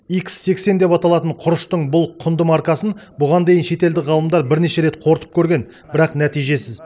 икс сексен деп аталатын құрыштың бұл құнды маркасын бұған дейін шетелдік ғалымдар бірнеше рет қорытып көрген бірақ нәтижесіз